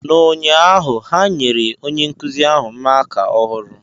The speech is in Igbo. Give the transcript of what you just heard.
N'ụnyaahụ, ha nyere onye nkuzi ahụ maaká ọhụrụ.